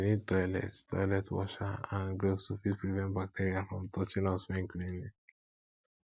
we need toilet toilet washer and gloves to fit prevent bacteria from touching us when cleaning